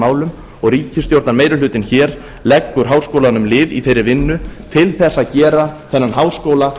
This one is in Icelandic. málum og ríkisstjórnarmeirihlutinn hér leggur háskólanum lið í þeirri vinnu til þess að gera þennan háskóla